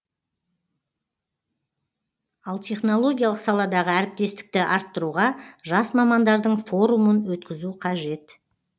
ал технологиялық саладағы әріптестікті арттыруға жас мамандардың форумын өткізу қажет